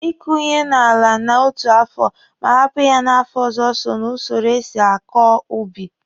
Ị kụ ihe n'ala n'otu afọ ma hapụ ya n'afọ ọzọ so ná usoro e si akọ ubi.